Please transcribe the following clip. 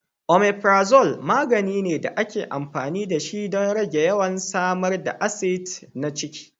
Omeprazole magani ne da ake amfani dashi don rage yawan samar da acid na ciki.